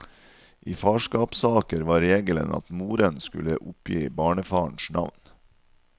I farskapssaker var regelen at moren skulle oppgi barnefarens navn.